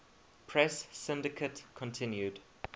press syndicate continued